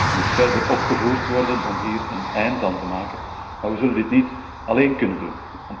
De druk moet verder opgevoerd worden om hier een eind aan te maken, maar we zullen dit niet alleen kunnen doen.